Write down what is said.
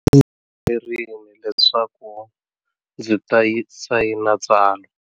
Ndzi yimerile leswaku ndzi ta sayina tsalwa.